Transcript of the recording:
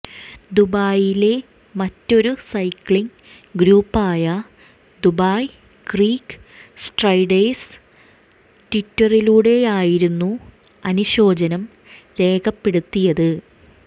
ദുബൈയിലെ മറ്റൊരു സൈക്കിളിംഗ് ഗ്രൂപ്പായ Dubai creek striders ട്വിറ്ററിലൂടെയായിരുന്നു അനുശോചനം രേഖപ്പെടുത്തിയത്